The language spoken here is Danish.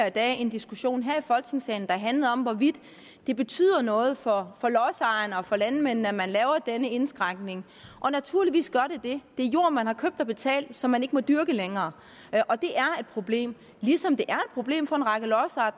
i dag en diskussion her i folketingssalen der handlede om hvorvidt det betyder noget for lodsejerne og for landmændene at man laver denne indskrænkning og naturligvis gør det det det er jord man har købt og betalt som man ikke må dyrke længere og det er et problem ligesom det er problem for en række lodsejere